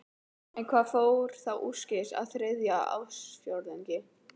En hvað fór þá úrskeiðis á þriðja ársfjórðungi?